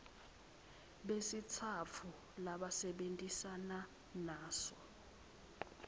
besitsatfu labasebentisana naso